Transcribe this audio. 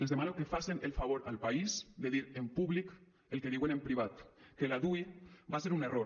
els demano que facen el favor al país de dir en públic el que diuen en privat que la dui va se un error